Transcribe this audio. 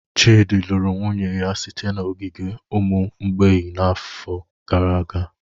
Chidi lụrụ nwunye ya site n'ogige ụmụ mgbei n'afọ gara aga.